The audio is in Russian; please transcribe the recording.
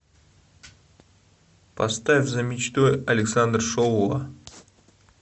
поставь за мечтой александр шоуа